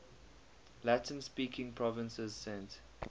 latin speaking provinces sent